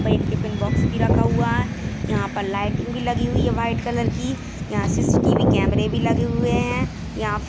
पर एक tiffin box भी रखा हुआ है। यहाँ पर लाइटिंग भी लगी हुई है व्हाइट कलर की यहाँ सी.सी.टी.वी. कैमरे भी लगे हुए है। यहाँ --